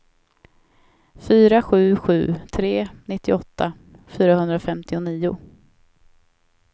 fyra sju sju tre nittioåtta fyrahundrafemtionio